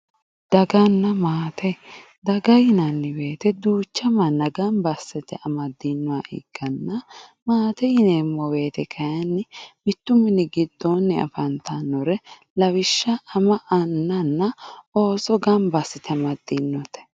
Daganna maate, daga yinanni woyte duucha manna gamba assite amadinoha ikkanna maate yineemmo woyte kayinni mitu mini giddo affantanore lawishsha ama anna ooso gamba assite amadinote.